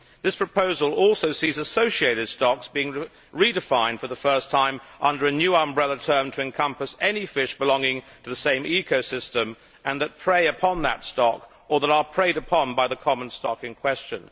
This proposal also sees associated stocks' being redefined for the first time as a new umbrella term to encompass any fish belonging to the same ecosystem that prey upon that stock or that are preyed upon by the common stock in question.